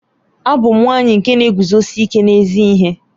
Abum nwanyi nke na-eguzosi ike n'ezi ihe.